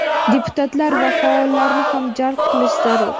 deputatlar va faollarni ham jalb qilish zarur.